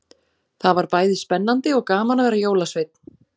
Það var bæði spennandi og gaman að vera jólasveinn.